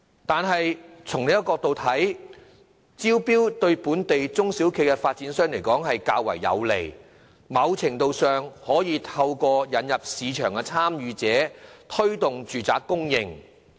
但是，從另一角度來看，招標對本地中小型發展商較為有利，在某程度上可以透過引入市場參與者推動住宅供應。